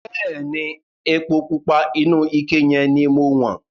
Bẹ̀ẹ́ni, epo pupa inú ike yẹn ni mo wọ̀n.